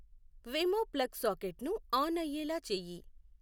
Wemo plug సాకెట్ను on అయ్యేలా చేయి